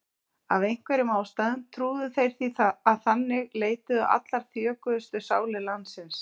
Af einhverjum ástæðum trúðu þeir því að þangað leituðu allar þjökuðustu sálir landsins.